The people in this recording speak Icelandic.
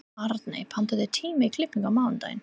Arney, pantaðu tíma í klippingu á mánudaginn.